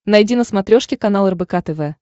найди на смотрешке канал рбк тв